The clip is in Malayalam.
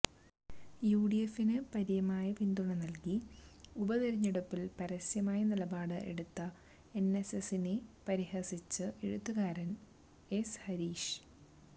യുഡിഎഫിന് പര്യമായ പിന്തുണ നല്കി ഉപതിരഞ്ഞെടുപ്പിൽ പരസ്യമായ നിലപാട് എടുത്ത എൻഎസ്എസ്സിനെ പരിഹസിച്ച് എഴുത്തുകാരൻ എസ് ഹരീഷ്